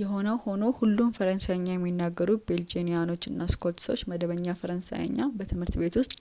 የሆነው ሆኖ ሁሉም ፈረንሳይኛ የሚናገሩ ቤልጂያኖች እና ስዊሶች መደበኛ ፈረንሳይኛ በትምህርት ቤት ውስጥ